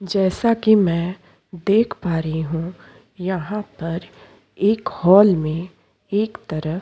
जैसा कि मैं देख पा रही हूँ यहाँ पर एक हॉल में एक तरफ़ --